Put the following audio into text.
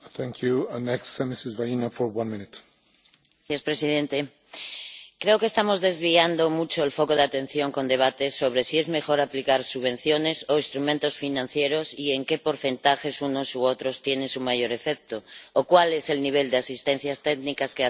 Señor presidente, creo que estamos desviando mucho el foco de atención con debates sobre si es mejor aplicar subvenciones o instrumentos financieros y en qué porcentajes unas u otros tienen su mayor efecto, o cuál es el nivel de asistencias técnicas que hacen falta